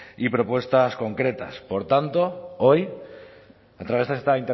y propuestas concretas por tanto hoy a través de esta